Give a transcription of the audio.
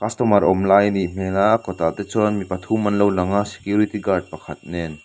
customer awm lai anih hmel a a kawtah te chuan mi pathum anlo lang a security guard pakhat nen.